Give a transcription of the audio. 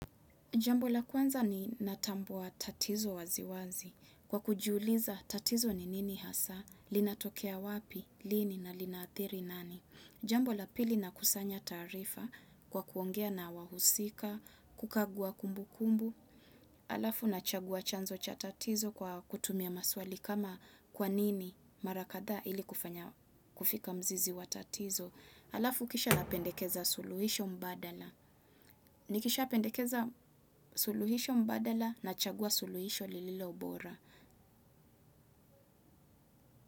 Jambo la kwanza ni natambua tatizo waziwazi. Kwa kujiuliza tatizo ni nini hasa, linatokea wapi, lini na linaadhiri nani. Jambo la pili na kusanya taarifa kwa kuongea na wahusika, kukagua kumbu kumbu. Alafu nachagua chanzo cha tatizo kwa kutumia maswali kama kwa nini mara kadhaa ili kufanya kufika mzizi wa tatizo. Alafu kisha napendekeza suluhisho mbadala. Nikishapendekeza suluhisho mbadala na chagua suluhisho lililo bora.